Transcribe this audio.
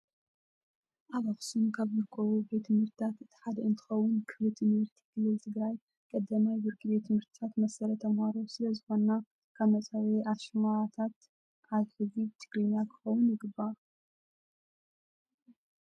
ኣብ ኣክሱም ካብ ዝርከቡ ቤት ትምህርቲታት እቲ ሓደ እንትኸውን ክፍሊ ትምህርቲ ክልል ትግራይ ቀዳማይ ብርኪ ቤት ትምህርቲታት መሰረት ተምሃሮ ስለዝኾና ካብ መፀውዒ ኣሽማነተን ኣትሕዚ ብትግርኛ ክኸውን ይግባእ።